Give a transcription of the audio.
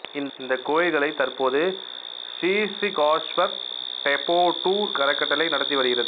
இந்த கோயில்களை தற்போது ஸ்ரீஸ்ரிகாஷ்வர் டெபோட்டூர் அறக்கட்டளை நடத்தி வருகிறது